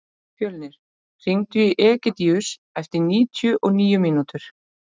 Fjölnir, hringdu í Egidíus eftir níutíu og níu mínútur.